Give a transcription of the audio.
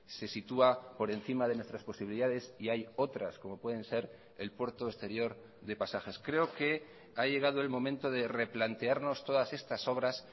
se situá por encima de nuestras posibilidades y hay otras como pueden ser el puerto exterior de pasajes creo que ha llegado el momento de replantearnos todas estas obras